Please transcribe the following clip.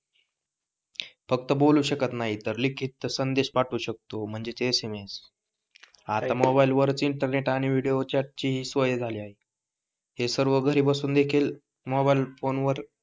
फक्त बोलू शकत नाही तर लिखीत संदेश पाठवू शकतो म्हणजे एसएमएस पाहिलं मोबाइल वर इंटरनेट असायचा आणि विडिओ चाट ची सोय झाली आहे. हे सर्व घरी बसून देखील मोबाइल फोन वर,